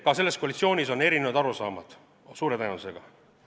Ka selles koalitsioonis on suure tõenäosusega erinevad arusaamad.